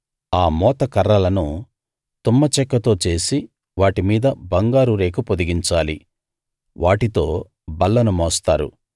ఆ మోతకర్రలను తుమ్మచెక్కతో చేసి వాటి మీద బంగారు రేకు పొదిగించాలి వాటితో బల్లను మోస్తారు